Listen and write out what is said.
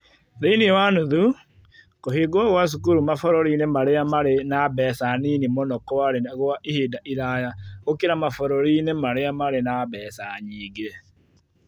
Thĩinĩ wa nuthu, kũhingwo kwa cukuru mabũrũri-inĩ marĩa marĩ na mbeca nini mũno kwarĩ gwa ihinda iraya gũkĩra mabũrũri-inĩ marĩa marĩ na mbeca nyingĩ.